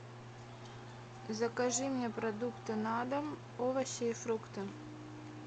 закажи мне продукты на дом овощи и фрукты